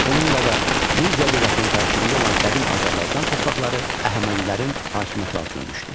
Bununla da Media dövlətinin tərkibində olan qədim Azərbaycan torpaqları Əhəmənilərin hakimiyyəti altına düşdü.